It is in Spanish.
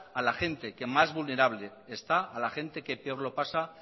a la gente que más vulnerable está a la gente que peor lo pasa